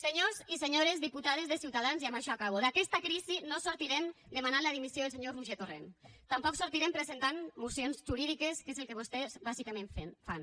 senyors i senyores diputades de ciutadans i amb això acabo d’aquesta crisi no en sortirem demanant la dimissió del senyor roger torrent tampoc en sortirem presentant mocions jurídiques que és el que vostès bàsicament fan